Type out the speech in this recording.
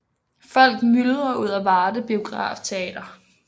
Folk myldrer ud af Varde Biograftheater